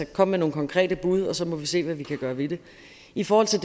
kom med nogle konkrete bud og så må vi se hvad vi kan gøre ved det i forhold til